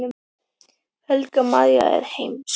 Helga María: Er þetta mjög skemmtileg?